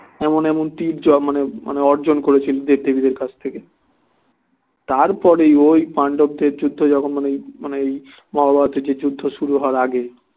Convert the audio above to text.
এমন এমন তীর জয় মানে অর্জন করেছিল দেবদেবীদের কাছ থেকে তারপরেই ওই পাণ্ডবদের যুদ্ধে যখন মানে মানে ওই মহাভারতের যে যুদ্ধ শুরু হবার আগে